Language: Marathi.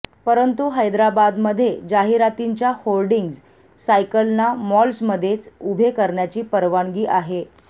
परंतु हैद्राबादमध्ये जाहिरातींच्या होर्डिंग सायकलना मॉल्समध्येच उभे करण्याची परवानगी आहे